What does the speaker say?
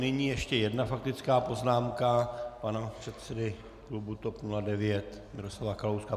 Nyní ještě jedna faktická poznámka pana předsedy klubu TOP 09 Miroslava Kalouska.